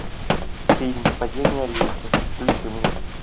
фильм падение олимпа включи мне